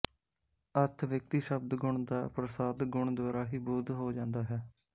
ਅਰਥਵਿਅਕਤੀ ਸ਼ਬਦ ਗੁਣ ਦਾ ਪ੍ਰਸਾਦ ਗੁਣ ਦੁਆਰਾ ਹੀ ਬੋਧ ਹੋ ਜਾਂਦਾ ਹੈ